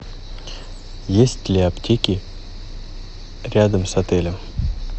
есть ли аптеки рядом с отелем